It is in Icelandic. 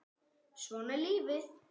Svona er lífið.